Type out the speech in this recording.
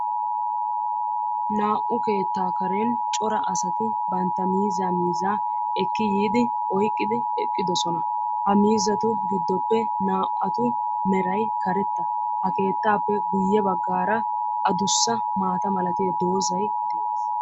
naa"u keetta kareni corra assati banta miiza oyqidi eqidossona ha miizatu gidoppe naa"atu meray karetta ha keetappe guyessara adussa maata mala doozaykka beetessi.